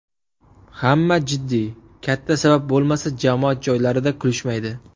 Hamma jiddiy, katta sabab bo‘lmasa, jamoat joylarida kulishmaydi.